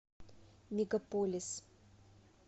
мегаполис